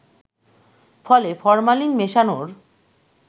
ফলে ফরমালিন মেশানোর